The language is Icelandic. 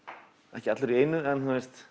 ekki allt í einu en